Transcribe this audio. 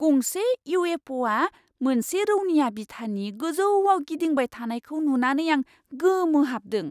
गंसे इउ.एफ.अ'.आ मोनसे रौनिया बिथानि गोजौआव गिदिंबाय थानायखौ नुनानै आं गोमोहाबदों!